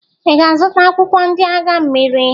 Ị ga-azụta akwụkwọ ndị agha mmiri?